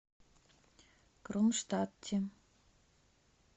кронштадте